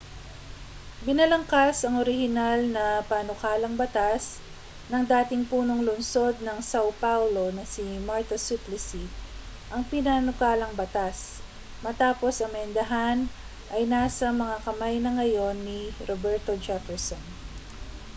binalangkas ang orihinal na panukalang batas ng dating punong lungsod ng sao paulo na si marta suplicy ang pinanukalang batas matapos amyendahan ay nasa mga kamay na ngayon ni roberto jefferson